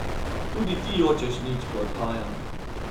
Tudi ti jočeš nič, ko odhajam.